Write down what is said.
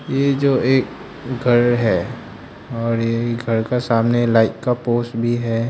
ये जो एक घर है और ये घर का सामने लाइट का पोस भी है।